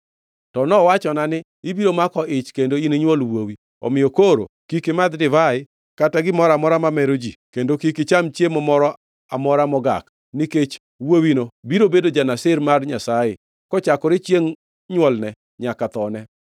To nowachona ni, ‘Ibiro mako ich kendo ininywol wuowi. Omiyo koro, kik imadh divai kata gimoro amora mamero ji kendo kik icham chiemo moro amora mogak, nikech wuowino biro bedo ja-Nazir mar Nyasaye kochakore chiengʼ nywolne nyaka thone.’ ”